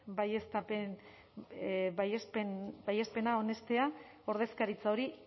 baiespena onestea ordezkaritza hori